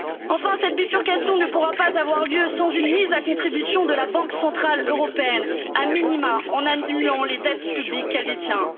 Enfin, cette bifurcation ne pourra pas avoir lieu sans une mise à contribution de la Banque centrale européenne, a minima en annulant les dettes publiques qu'elle détient.